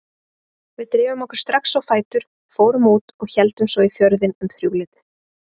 Við drifum okkur strax á fætur, fórum út og héldum svo í Fjörðinn um þrjúleytið.